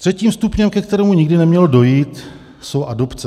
Třetím stupněm, ke kterému nikdy nemělo dojít, jsou adopce.